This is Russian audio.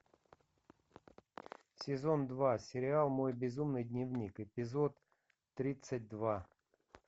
сезон два сериал мой безумный дневник эпизод тридцать два